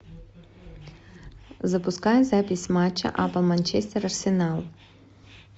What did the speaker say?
запускай запись матча апл манчестер арсенал